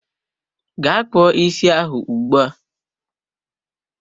Ga kpụọ isi ahụ ugbua!